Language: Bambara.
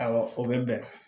Awɔ o bɛ bɛn